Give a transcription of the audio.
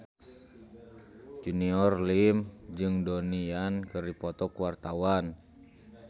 Junior Liem jeung Donnie Yan keur dipoto ku wartawan